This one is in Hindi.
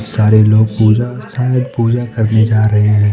सारे लोग पूजा शायद पूजा करने जा रहे हैं।